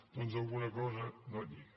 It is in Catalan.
doncs alguna cosa no lliga